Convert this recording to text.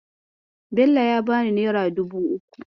Bello ya bani nera dubu uku.